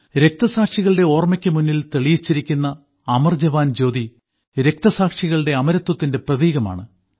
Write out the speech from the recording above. രക്തസാക്ഷികളുടെ ഓർമ്മയ്ക്ക് മുന്നിൽ തെളിയിച്ചിരിക്കുന്ന അമർജവാൻ ജ്യോതി രക്തസാക്ഷികളുടെ അമരത്വത്തിന്റെ പ്രതീകമാണ്